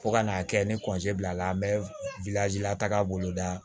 Fo ka n'a kɛ ni bilala an bɛ la taga bolo da